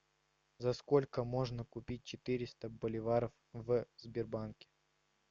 за сколько можно купить четыреста боливаров в сбербанке